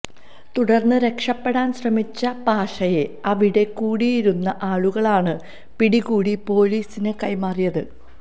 തുടര്ന്ന് രക്ഷപ്പെടാന് ശ്രമിച്ച പാഷയെ അവിടെ കൂടിയിരുന്ന ആളുകളാണ് പിടികൂടി പോലിസിന് കൈമാറിയത്